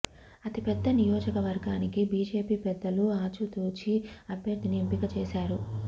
అతి పెద్ద నియోజకవర్గానికి బీజేపీ పెద్దలు ఆచితూచి అభ్యర్థిని ఎంపిక చేశారు